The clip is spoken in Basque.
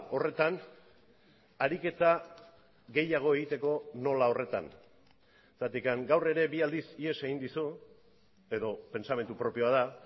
horretan ariketa gehiago egiteko nola horretan zergatik gaur ere bi aldiz ihes egin dizu edo pentsamendu propioa da